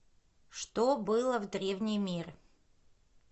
что было в древний мир